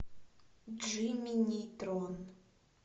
джимми нейтрон